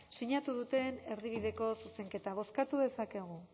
sinatu duten erdibideko zuzenketa bozkatu dezakegu